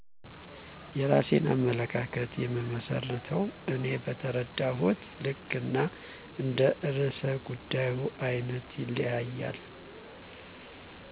የራሴን አመለካከት የምመስርተው እኔ በተረዳሁት ልክ እና እንደ ርዕሰ ጉዳዩ አይነት ይለያያል